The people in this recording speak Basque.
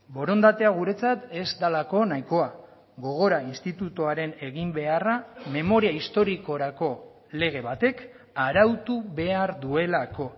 borondatea guretzat ez delako nahikoa gogora institutuaren eginbeharra memoria historikorako lege batek arautu behar duelako